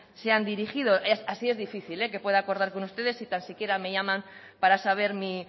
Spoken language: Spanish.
se han dirigido así es difícil que pueda acordar con ustedes si tan siquiera me llaman para saber mi